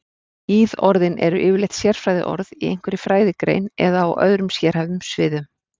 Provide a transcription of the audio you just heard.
Íðorðin eru yfirleitt sérfræðiorð í einhverri fræðigrein eða á öðrum sérhæfðum sviðum.